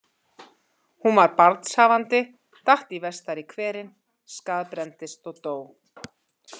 Hún var barnshafandi, datt í vestari hverinn, skaðbrenndist og dó.